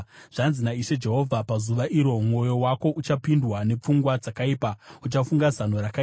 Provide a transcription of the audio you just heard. “ ‘Zvanzi naIshe Jehovha: Pazuva iro, mwoyo wako uchapindwa nepfungwa dzakaipa, uchafunga zano rakaipa.